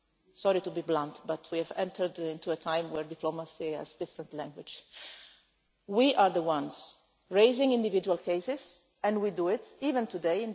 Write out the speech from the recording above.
has. Sorry to be blunt, but we have entered into a time where diplomacy has a different language. We are the ones raising individual cases, and we do it even